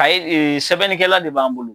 Ayi e sɛbɛnnikɛla de b'an bolo.